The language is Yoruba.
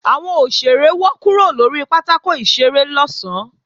Àwọn òṣèré wọ́ kúrò lórí pátákò ìṣeré lọ̀sán